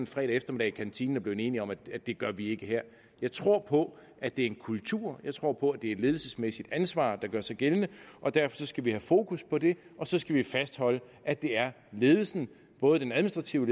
fredag eftermiddag i kantinen og er blevet enige om at det gør vi ikke her jeg tror på at det er en kultur jeg tror på at det er et ledelsesmæssigt ansvar der gør sig gældende og derfor skal vi have fokus på det og så skal vi fastholde at det er ledelsen både den administrative